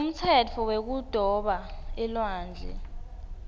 umtsetfo wekudoba elwandle